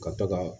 Ka to ka